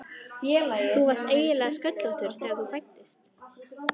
Þú varst eiginlega sköllóttur þegar þú fæddist.